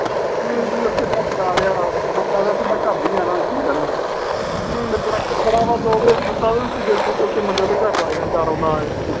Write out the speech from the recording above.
T. ਵੀ. ਉਥੇ ਲਿਆ ਕੇ ਲਾ ਲਿਆ, ਕਹਿੰਦਾ ਮੈਂ ਘਰ ਨੀ ਜਾਣਾ, ਇੱਥੇ ਰਹਿਣਾ। ਦੋ ਕੁ ਦਿਨ ਸੁੱਤਾ ਤੇ ਤੀਜੇ ਦਿਨ ਮੰਜਾ ਉਹਦੇ ਘਰ ਲੈ ਗਿਆ ਰੋਂਦਾ-ਰੋਂਦਾ ਇਹ।